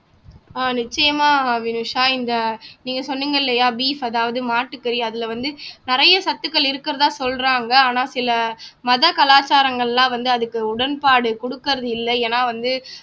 அஹ் நிச்சயமா வினுஷா இந்த நீங்க சொன்னீங்க இல்லையா beef அதாவது மாட்டுக்கறி அதுல வந்து நிறைய சத்துக்கள் இருக்கிறதா சொல்றாங்க ஆனா சில மத கலாச்சாரங்கள் எல்லாம் வந்து அதுக்கு உடன்பாடு கொடுக்கிறது இல்ல ஏன்னா வந்து